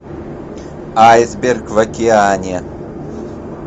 айсберг в океане